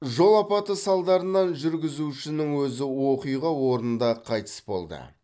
жол апаты салдарынан жүргізушінің өзі оқиға орнында қайтыс болды